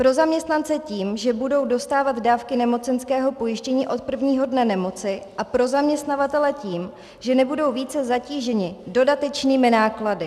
Pro zaměstnance tím, že budou dostávat dávky nemocenského pojištění od prvního dne nemoci, a pro zaměstnavatele tím, že nebudou více zatíženi dodatečnými náklady.